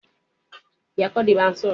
Bẹẹni, mo máa lọ si yàrá ibùsùn